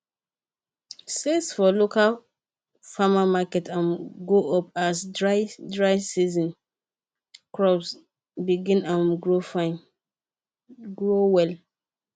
sales for local farmer market um go up as dry dry season crops begin um grow well